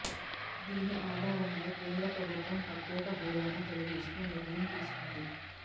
దీని ఆధారంగా కేంద్ర ప్రభుత్వం ప్రత్యేక హోదాను తొలగిస్తూ నిర్ణయం తీసుకుంది